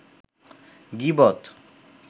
গীবত